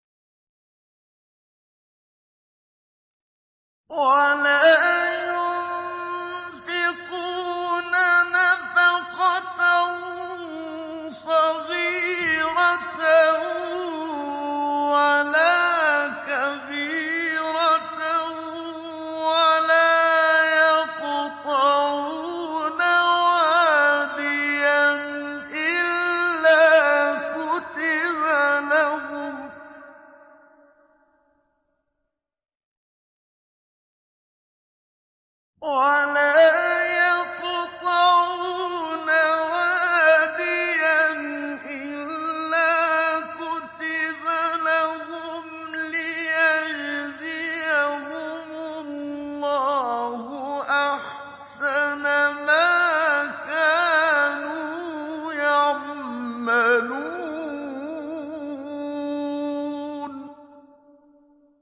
وَلَا يُنفِقُونَ نَفَقَةً صَغِيرَةً وَلَا كَبِيرَةً وَلَا يَقْطَعُونَ وَادِيًا إِلَّا كُتِبَ لَهُمْ لِيَجْزِيَهُمُ اللَّهُ أَحْسَنَ مَا كَانُوا يَعْمَلُونَ